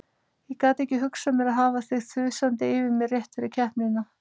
Ég gat ekki hugsað mér að hafa þig þusandi yfir mér rétt fyrir keppnina.